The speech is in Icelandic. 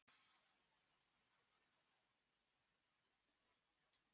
Þóra: Ertu með í að undirbúa slíkan flokk ásamt Margréti Sverrisdóttur?